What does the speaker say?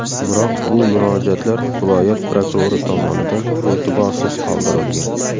Biroq bu murojaatlar viloyat prokurori tomonidan e’tiborsiz qoldirilgan.